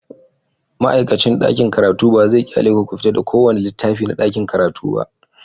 Ma'aikacin ɗakin karatu ba zai ƙyale ku fita da kowane littafi na ɗakin karatu ba.